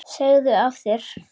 Segðu af þér!